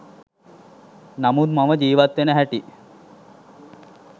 නමුත් මම ජීවත් වෙන හැටි